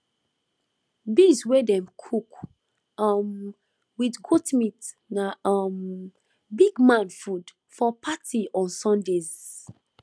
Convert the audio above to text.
beans wey dem cook um with goat meat na um big man food for party on sundays